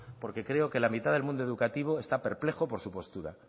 porque creo que la mitad del mundo educativo está perplejo por su postura